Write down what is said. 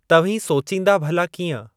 तव्हीं सोचींदा भला कींअं?